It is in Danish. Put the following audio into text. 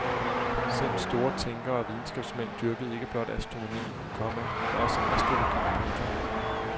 Selv store tænkere og videnskabsmænd dyrkede ikke blot astronomien, komma men også astrologien. punktum